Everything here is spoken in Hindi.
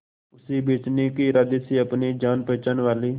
उसे बचने के इरादे से अपने जान पहचान वाले